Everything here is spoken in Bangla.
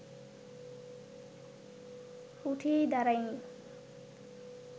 উঠেই দাঁড়ায়নি